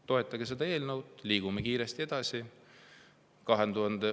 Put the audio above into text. Toetage seda eelnõu, liigume kiiresti edasi.